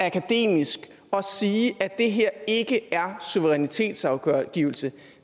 akademisk at sige at det her ikke er suverænitetsafgivelse